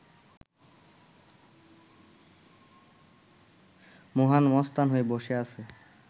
মহান মস্তান হয়ে বসে আছে